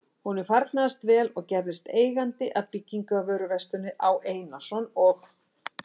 Honum farnaðist vel og gerðist eigandi að byggingarvöruversluninni Á. Einarsson og